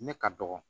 Ne ka dɔgɔ